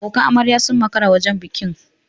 Abokan amarya sun makara wajen bikin.